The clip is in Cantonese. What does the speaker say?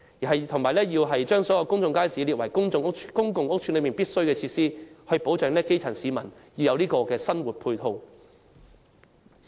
此外，政府應把公眾街市列為公共屋邨的必需設施，為基層市民提供生活配套。